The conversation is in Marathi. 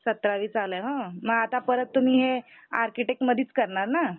सतरावी चालूये उम्म मग आता परत तुम्ही आर्किटेक्ट मधेच करणार ना?